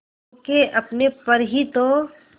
खो के अपने पर ही तो